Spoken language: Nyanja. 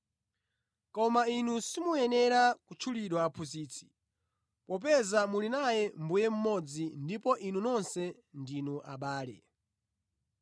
“Koma inu simuyenera kutchulidwa ‘Aphunzitsi,’ popeza muli naye Mbuye mmodzi ndipo inu nonse ndinu abale.